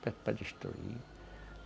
Eu peço para destruir.